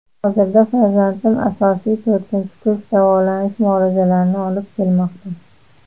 Hozirda farzandim asosiy to‘rtinchi kurs davolanish muolajalarini olib kelmoqda.